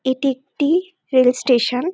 এটি একটি rail station.